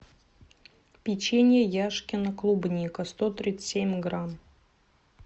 печенье яшкино клубника сто тридцать семь грамм